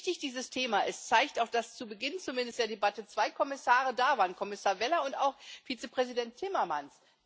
Wie wichtig dieses Thema ist, zeigt auch, dass zumindest zu Beginn der Debatte zwei Kommissare da waren Kommissar Vella und auch Vizepräsident Timmermanns.